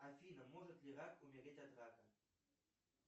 афина может ли рак умереть от рака